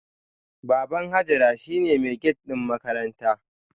Baban Hajara shine mai gate din makaranta